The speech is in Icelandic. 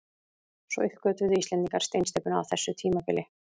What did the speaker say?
Svo uppgötvuðu Íslendingar steinsteypuna á þessu tímabili.